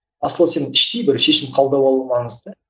асылы сен іштей бір шешім қабылдап алу маңызды